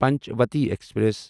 Panchvati express